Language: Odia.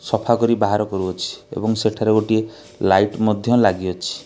ସଫା କରି ବାହାର କରୁଅଛି ଏବଂ ସେଠାର ଗୋଟିଏ ଲାଇଟ୍ ମଧ୍ୟ ଲାଗିଅଛି।